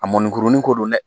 A mɔnikurunin ko don dɛ